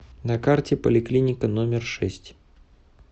на карте поликлиника номер шесть